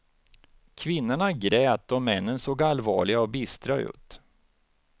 Kvinnorna grät och männen såg allvarliga och bistra ut.